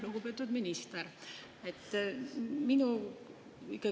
Lugupeetud minister!